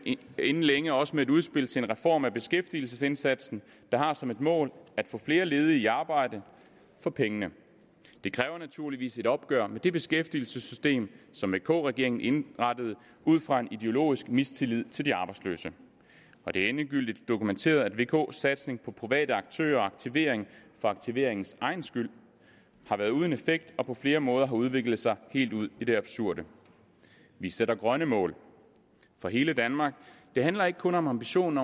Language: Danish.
inden længe også med et udspil til en reform af beskæftigelsesindsatsen der har som et mål at få flere ledige i arbejde for pengene det kræver naturligvis et opgør med det beskæftigelsessystem som vk regeringen indrettede ud fra en ideologisk mistillid til de arbejdsløse og det er endegyldigt dokumenteret at vks satsning på private aktører og aktivering for aktiveringens egen skyld har været uden effekt og på flere måder har udviklet sig helt ud i det absurde vi sætter grønne mål for hele danmark det handler ikke kun om ambitionen